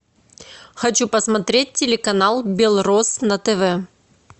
хочу посмотреть телеканал белрос на тв